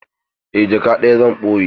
Eh jaka ɗaya zan ɓoye.